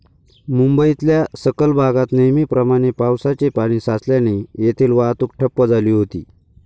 मुंबईतल्या सखल भागात नेहमीप्रमाणे पावसाचे पाणी साचल्याने येथील वाहतूक ठप्प झाली होती.